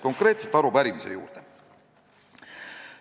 Konkreetse arupärimise juurde.